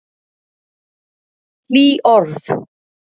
Hlý orð.